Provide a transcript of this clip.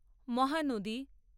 Mahanadi